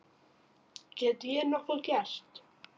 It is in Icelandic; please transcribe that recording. Get ég nokkuð gert?